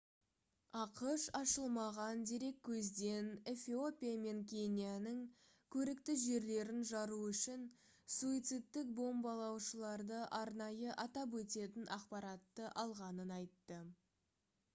ақш ашылмаған дереккөзден эфиопия мен кенияның «көрікті жерлерін» жару үшін суицидтік бомбалаушыларды арнайы атап өтетін ақпаратты алғанын айтты